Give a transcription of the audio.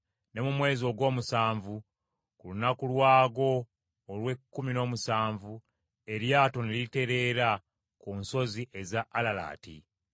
ne mu mwezi ogw’omusanvu, ku lunaku lwagwo olw’ekkumi n’omusanvu, eryato ne litereera ku nsozi eza Alalaati.